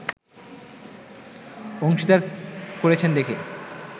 অংশীদার করেছেন দেখে